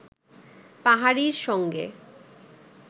পাহাড়ীর সঙ্গে